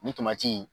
Nin in